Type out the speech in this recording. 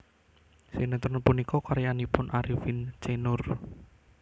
Sinetron punika karyanipun Arifin C Noer